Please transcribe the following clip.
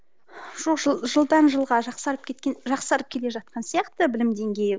жоқ жыл жылдан жылға жақсарып кеткен жақсарып келе жатқан сияқты білім деңгейі